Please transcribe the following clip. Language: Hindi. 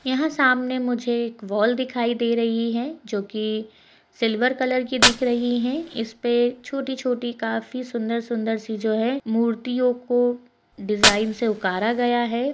यहाँ समाने मुझे एक वॉल दिखाई दे रही है जो कि सिल्वर कलर दिख रही है इसपे छोटी-छोटी काफी सुंदर-सुंदर सी जो है मूर्तियों को डिज़ाइन से उकारा गया है।